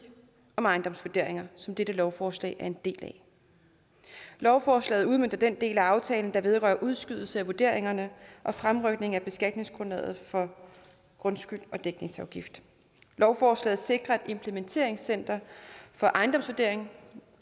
om ejendomsvurderinger som dette lovforslag er en del af lovforslaget udmønter den del af aftalen der vedrører udskydelse af vurderingerne og fremrykning af beskatningsgrundlaget for grundskyld og dækningsafgift lovforslaget sikrer at et implementeringscenter for ejendomsvurderinger